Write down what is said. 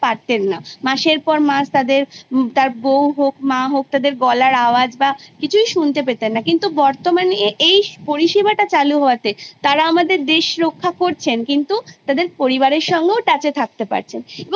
কিন্তু বর্তমান শিক্ষাব্যবস্থায় বয়সের সমান্তরালে Class তাকে এগিয়ে নিয়ে যাবার একটা পদ্ধতি চালু হয়েছে যে মনে হয় কোথাও না কোথাও বাচ্ছাদের শেখার জায়গাটাতে অনেকটাই ঘাটতি করে দিয়ে যাচ্ছে